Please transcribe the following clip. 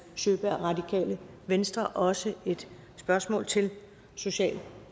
sjøberg radikale venstre også et spørgsmål til social